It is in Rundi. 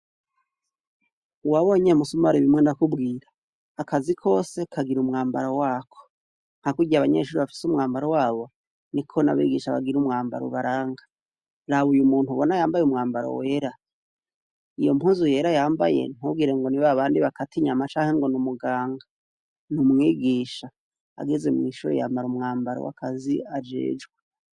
Wabonye MUSUMARI bimwe nakubwira. Akazi kwose kagira umwambara wako. Nka kurya abanyeshuri bagira umwambaro wabo, niko n'abigisha bafise umwambara ubaranga. Raba uyu muntu abona yambaye umwambaro wera, iyo mpuzu yera yambaye ntugire ngo ni babandi bakata inyama canke ngo ni umuganga. Ni umwigisha. Ageze mw'ishire yambara umwambaro w'akazi ajejwe.